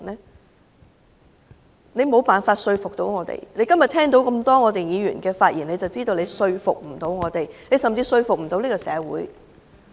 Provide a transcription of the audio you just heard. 政府沒有辦法說服我們，今天只要聽到這麼多議員的發言便可以知道，政府無法說服我們，甚至無法說服這個社會。